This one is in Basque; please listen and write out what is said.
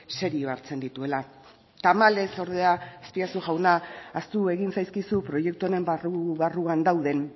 serio hartzen dituela tamalez ordea azpiazu jauna ahaztu egin zaizkizu proiektu honen barru barruan dauden